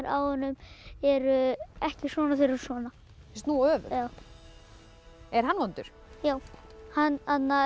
á honum eru ekki svona þeir eru svona snúa öfugt já er hann vondur já hann